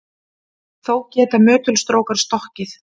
Þó geta möttulstrókar stokkið.